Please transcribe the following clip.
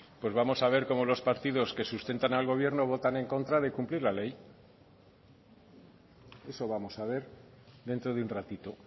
pues vamos a ver cómo los partidos que sustentan al gobierno votan en contra de cumplir la ley eso vamos a ver dentro de un ratito